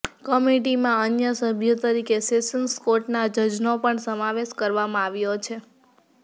કમિટીમાં અન્ય સભ્યો તરીકે સેશન્સ કોર્ટના જજનો પણ સમાવેશ કરવામાં આવ્યો છે